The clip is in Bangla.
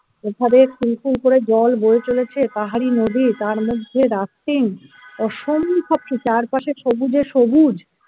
ওখানে কুল কুল করে জল বয়ে চলেছে পাহাড়ি নদী তার মধ্যে rafting অসম্ভব কি চারপাশে সবুজে সবুজ